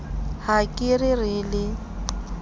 ha ke re re le